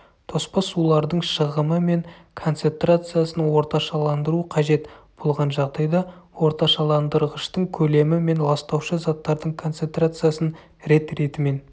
тоспа суларлың шығымы мен концентрациясын орташаландыру қажет болған жағдайда орташаландырғыштың көлемі мен ластаушы заттардың концентрациясын рет-ретімен